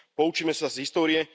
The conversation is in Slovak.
Poučíme sa z histórie.